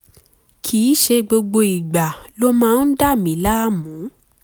kìí ṣe gbogbo ìgbà ló máa ń dà mí láàmú